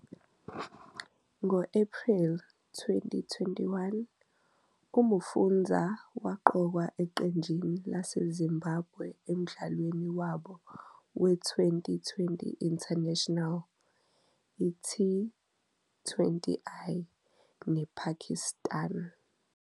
Ngo-Ephreli 2021, uMufudza waqokwa eqenjini laseZimbabwe emdlalweni wabo weTwenty20 International, T20I, nePakistan.